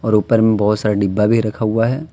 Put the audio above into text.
ऊपर में बहुत सारा डिब्बा भी रखा हुआ है।